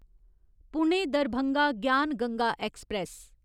Pune Darbhanga Gyan Ganga express